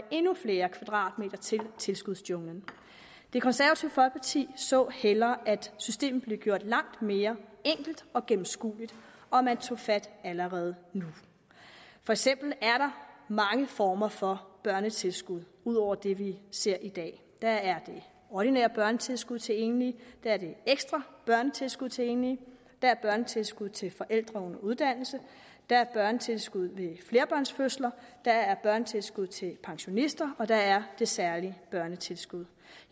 endnu flere kvadratmeter til tilskudsjunglen det konservative folkeparti så hellere at systemet blev gjort langt mere enkelt og gennemskueligt og at man tog fat allerede nu for eksempel er der mange former for børnetilskud ud over det vi ser på i dag der er det ordinære børnetilskud til enlige der er det ekstra børnetilskud til enlige der er børnetilskud til forældre under uddannelse der er børnetilskud ved flerbørnsfødsler og der er børnetilskud til pensionister og der er det særlige børnetilskud